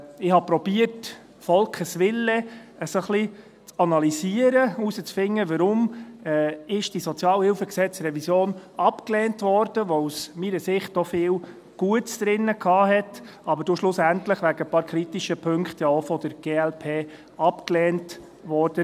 Ich habe versucht, des Volkes Wille ein wenig zu analysieren und herauszufinden, weshalb diese SHG-Revision abgelehnt wurde, die aus meiner Sicht auch viel Gutes enthalten hatte, aber dann schlussendlich wegen ein paar kritischer Punkte auch von der glp abgelehnt wurde.